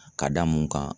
Ka da mun kan